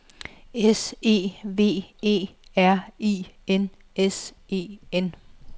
S E V E R I N S E N